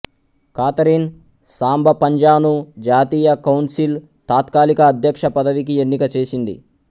Catherine సాంబాపన్జాను జాతీయ council తాత్కాలిక అధ్యక్షపదవికి ఎన్నిక చేసింది